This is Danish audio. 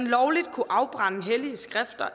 lovligt kunne afbrænde hellige skrifter